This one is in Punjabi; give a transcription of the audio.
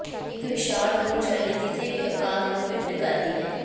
ਇੱਕ ਵਿਸ਼ਾਲ ਮੂਲ ਸ਼ੈਲੀ ਕਿਸੇ ਵੀ ਆਕਾਰ ਨੂੰ ਫਿੱਟ ਕਰਦੀ ਹੈ